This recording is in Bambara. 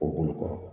O bolo kɔrɔ